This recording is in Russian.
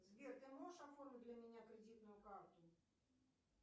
сбер ты можешь оформить для меня кредитную карту